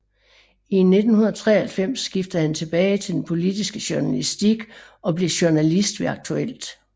I 1993 skiftede han tilbage til den politiske journalistik og blev journalist ved Aktuelt